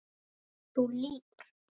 Þú lýgur.